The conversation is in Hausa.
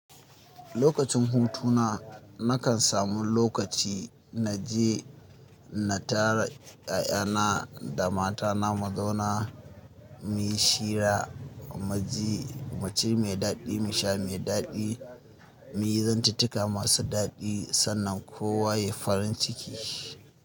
Lokacin hutuna nakan samu lokaci na je na tara ƴaƴana da matana mu zauna mu yi shira, mu ci mai daɗi, mu sha mai daɗi, mu yi zantituka masu daɗi sannan kowa ya yi farin ciki.